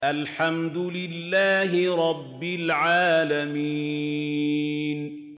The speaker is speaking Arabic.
الْحَمْدُ لِلَّهِ رَبِّ الْعَالَمِينَ